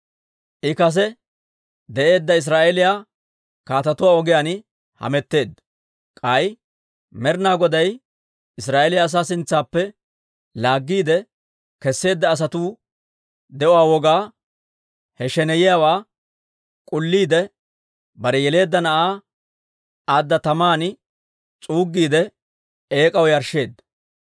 I kase de'eedda Israa'eeliyaa kaatetuwaa ogiyaan hametteedda. K'ay Med'ina Goday Israa'eeliyaa asaa sintsaappe laaggiide kesseedda asatuu de'uwaa wogaa, he sheneyiyaawaa k'ulliide, bare yeleedda na'aa adda taman s'uuggiide, eek'aw yarshsheedda.